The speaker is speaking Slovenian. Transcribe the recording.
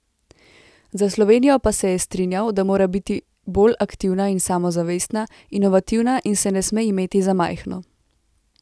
Za Slovenijo pa se je strinjal, da mora biti bolj aktivna in samozavestna, inovativna in se ne sme imeti za majhno.